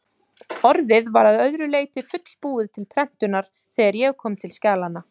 ORÐIÐ var að öðru leyti fullbúið til prentunar, þegar ég kom til skjalanna.